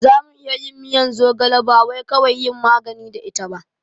Zamu iya yin miyan zogala bawai kawai yin magani da ita ba